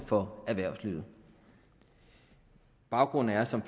for erhvervslivet baggrunden er som